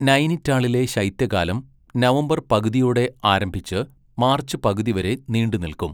നൈനിറ്റാളിലെ ശൈത്യകാലം നവംബർ പകുതിയോടെ ആരംഭിച്ച് മാർച്ച് പകുതി വരെ നീണ്ടുനിൽക്കും.